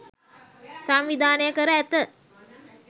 සංවිධානය කර ඇත.